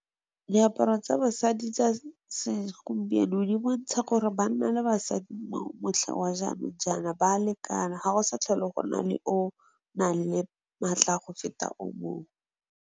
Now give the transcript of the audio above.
Diaparo tsa basadi tsa se gompieno di bontsha gore banna le basadi motlha wa jaanong jaana ba lekana ga go sa tlhole go na le o nang le maatla a go feta o mongwe.